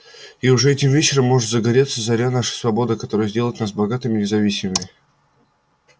и уже этим вечером может загореться заря нашей свободы которая сделает нас богатыми и независимыми